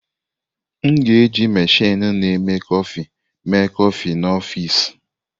M ga-eji meshini na-eme kọfị eme kọfị n'ọfịs.